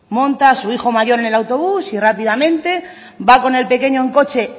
monta a su hijo mayo en el autobús y rápidamente va con el pequeño en coche